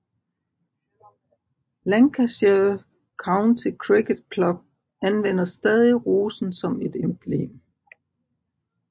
Lancashire County Cricket Club anvender stadig rosen som et emblem